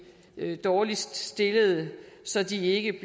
dårligst stillede så de ikke